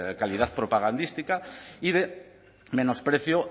calidad propagandística y de menosprecio